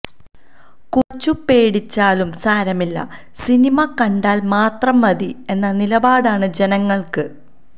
കുറച്ചു പേടിച്ചാലും സാരമില്ല സിനിമ കണ്ടാൽ മാത്രം മതി എന്ന നിലപാടാണ് ജനങ്ങൾക്ക്